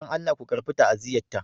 Dan Allah ku karɓi ta'aziyyata.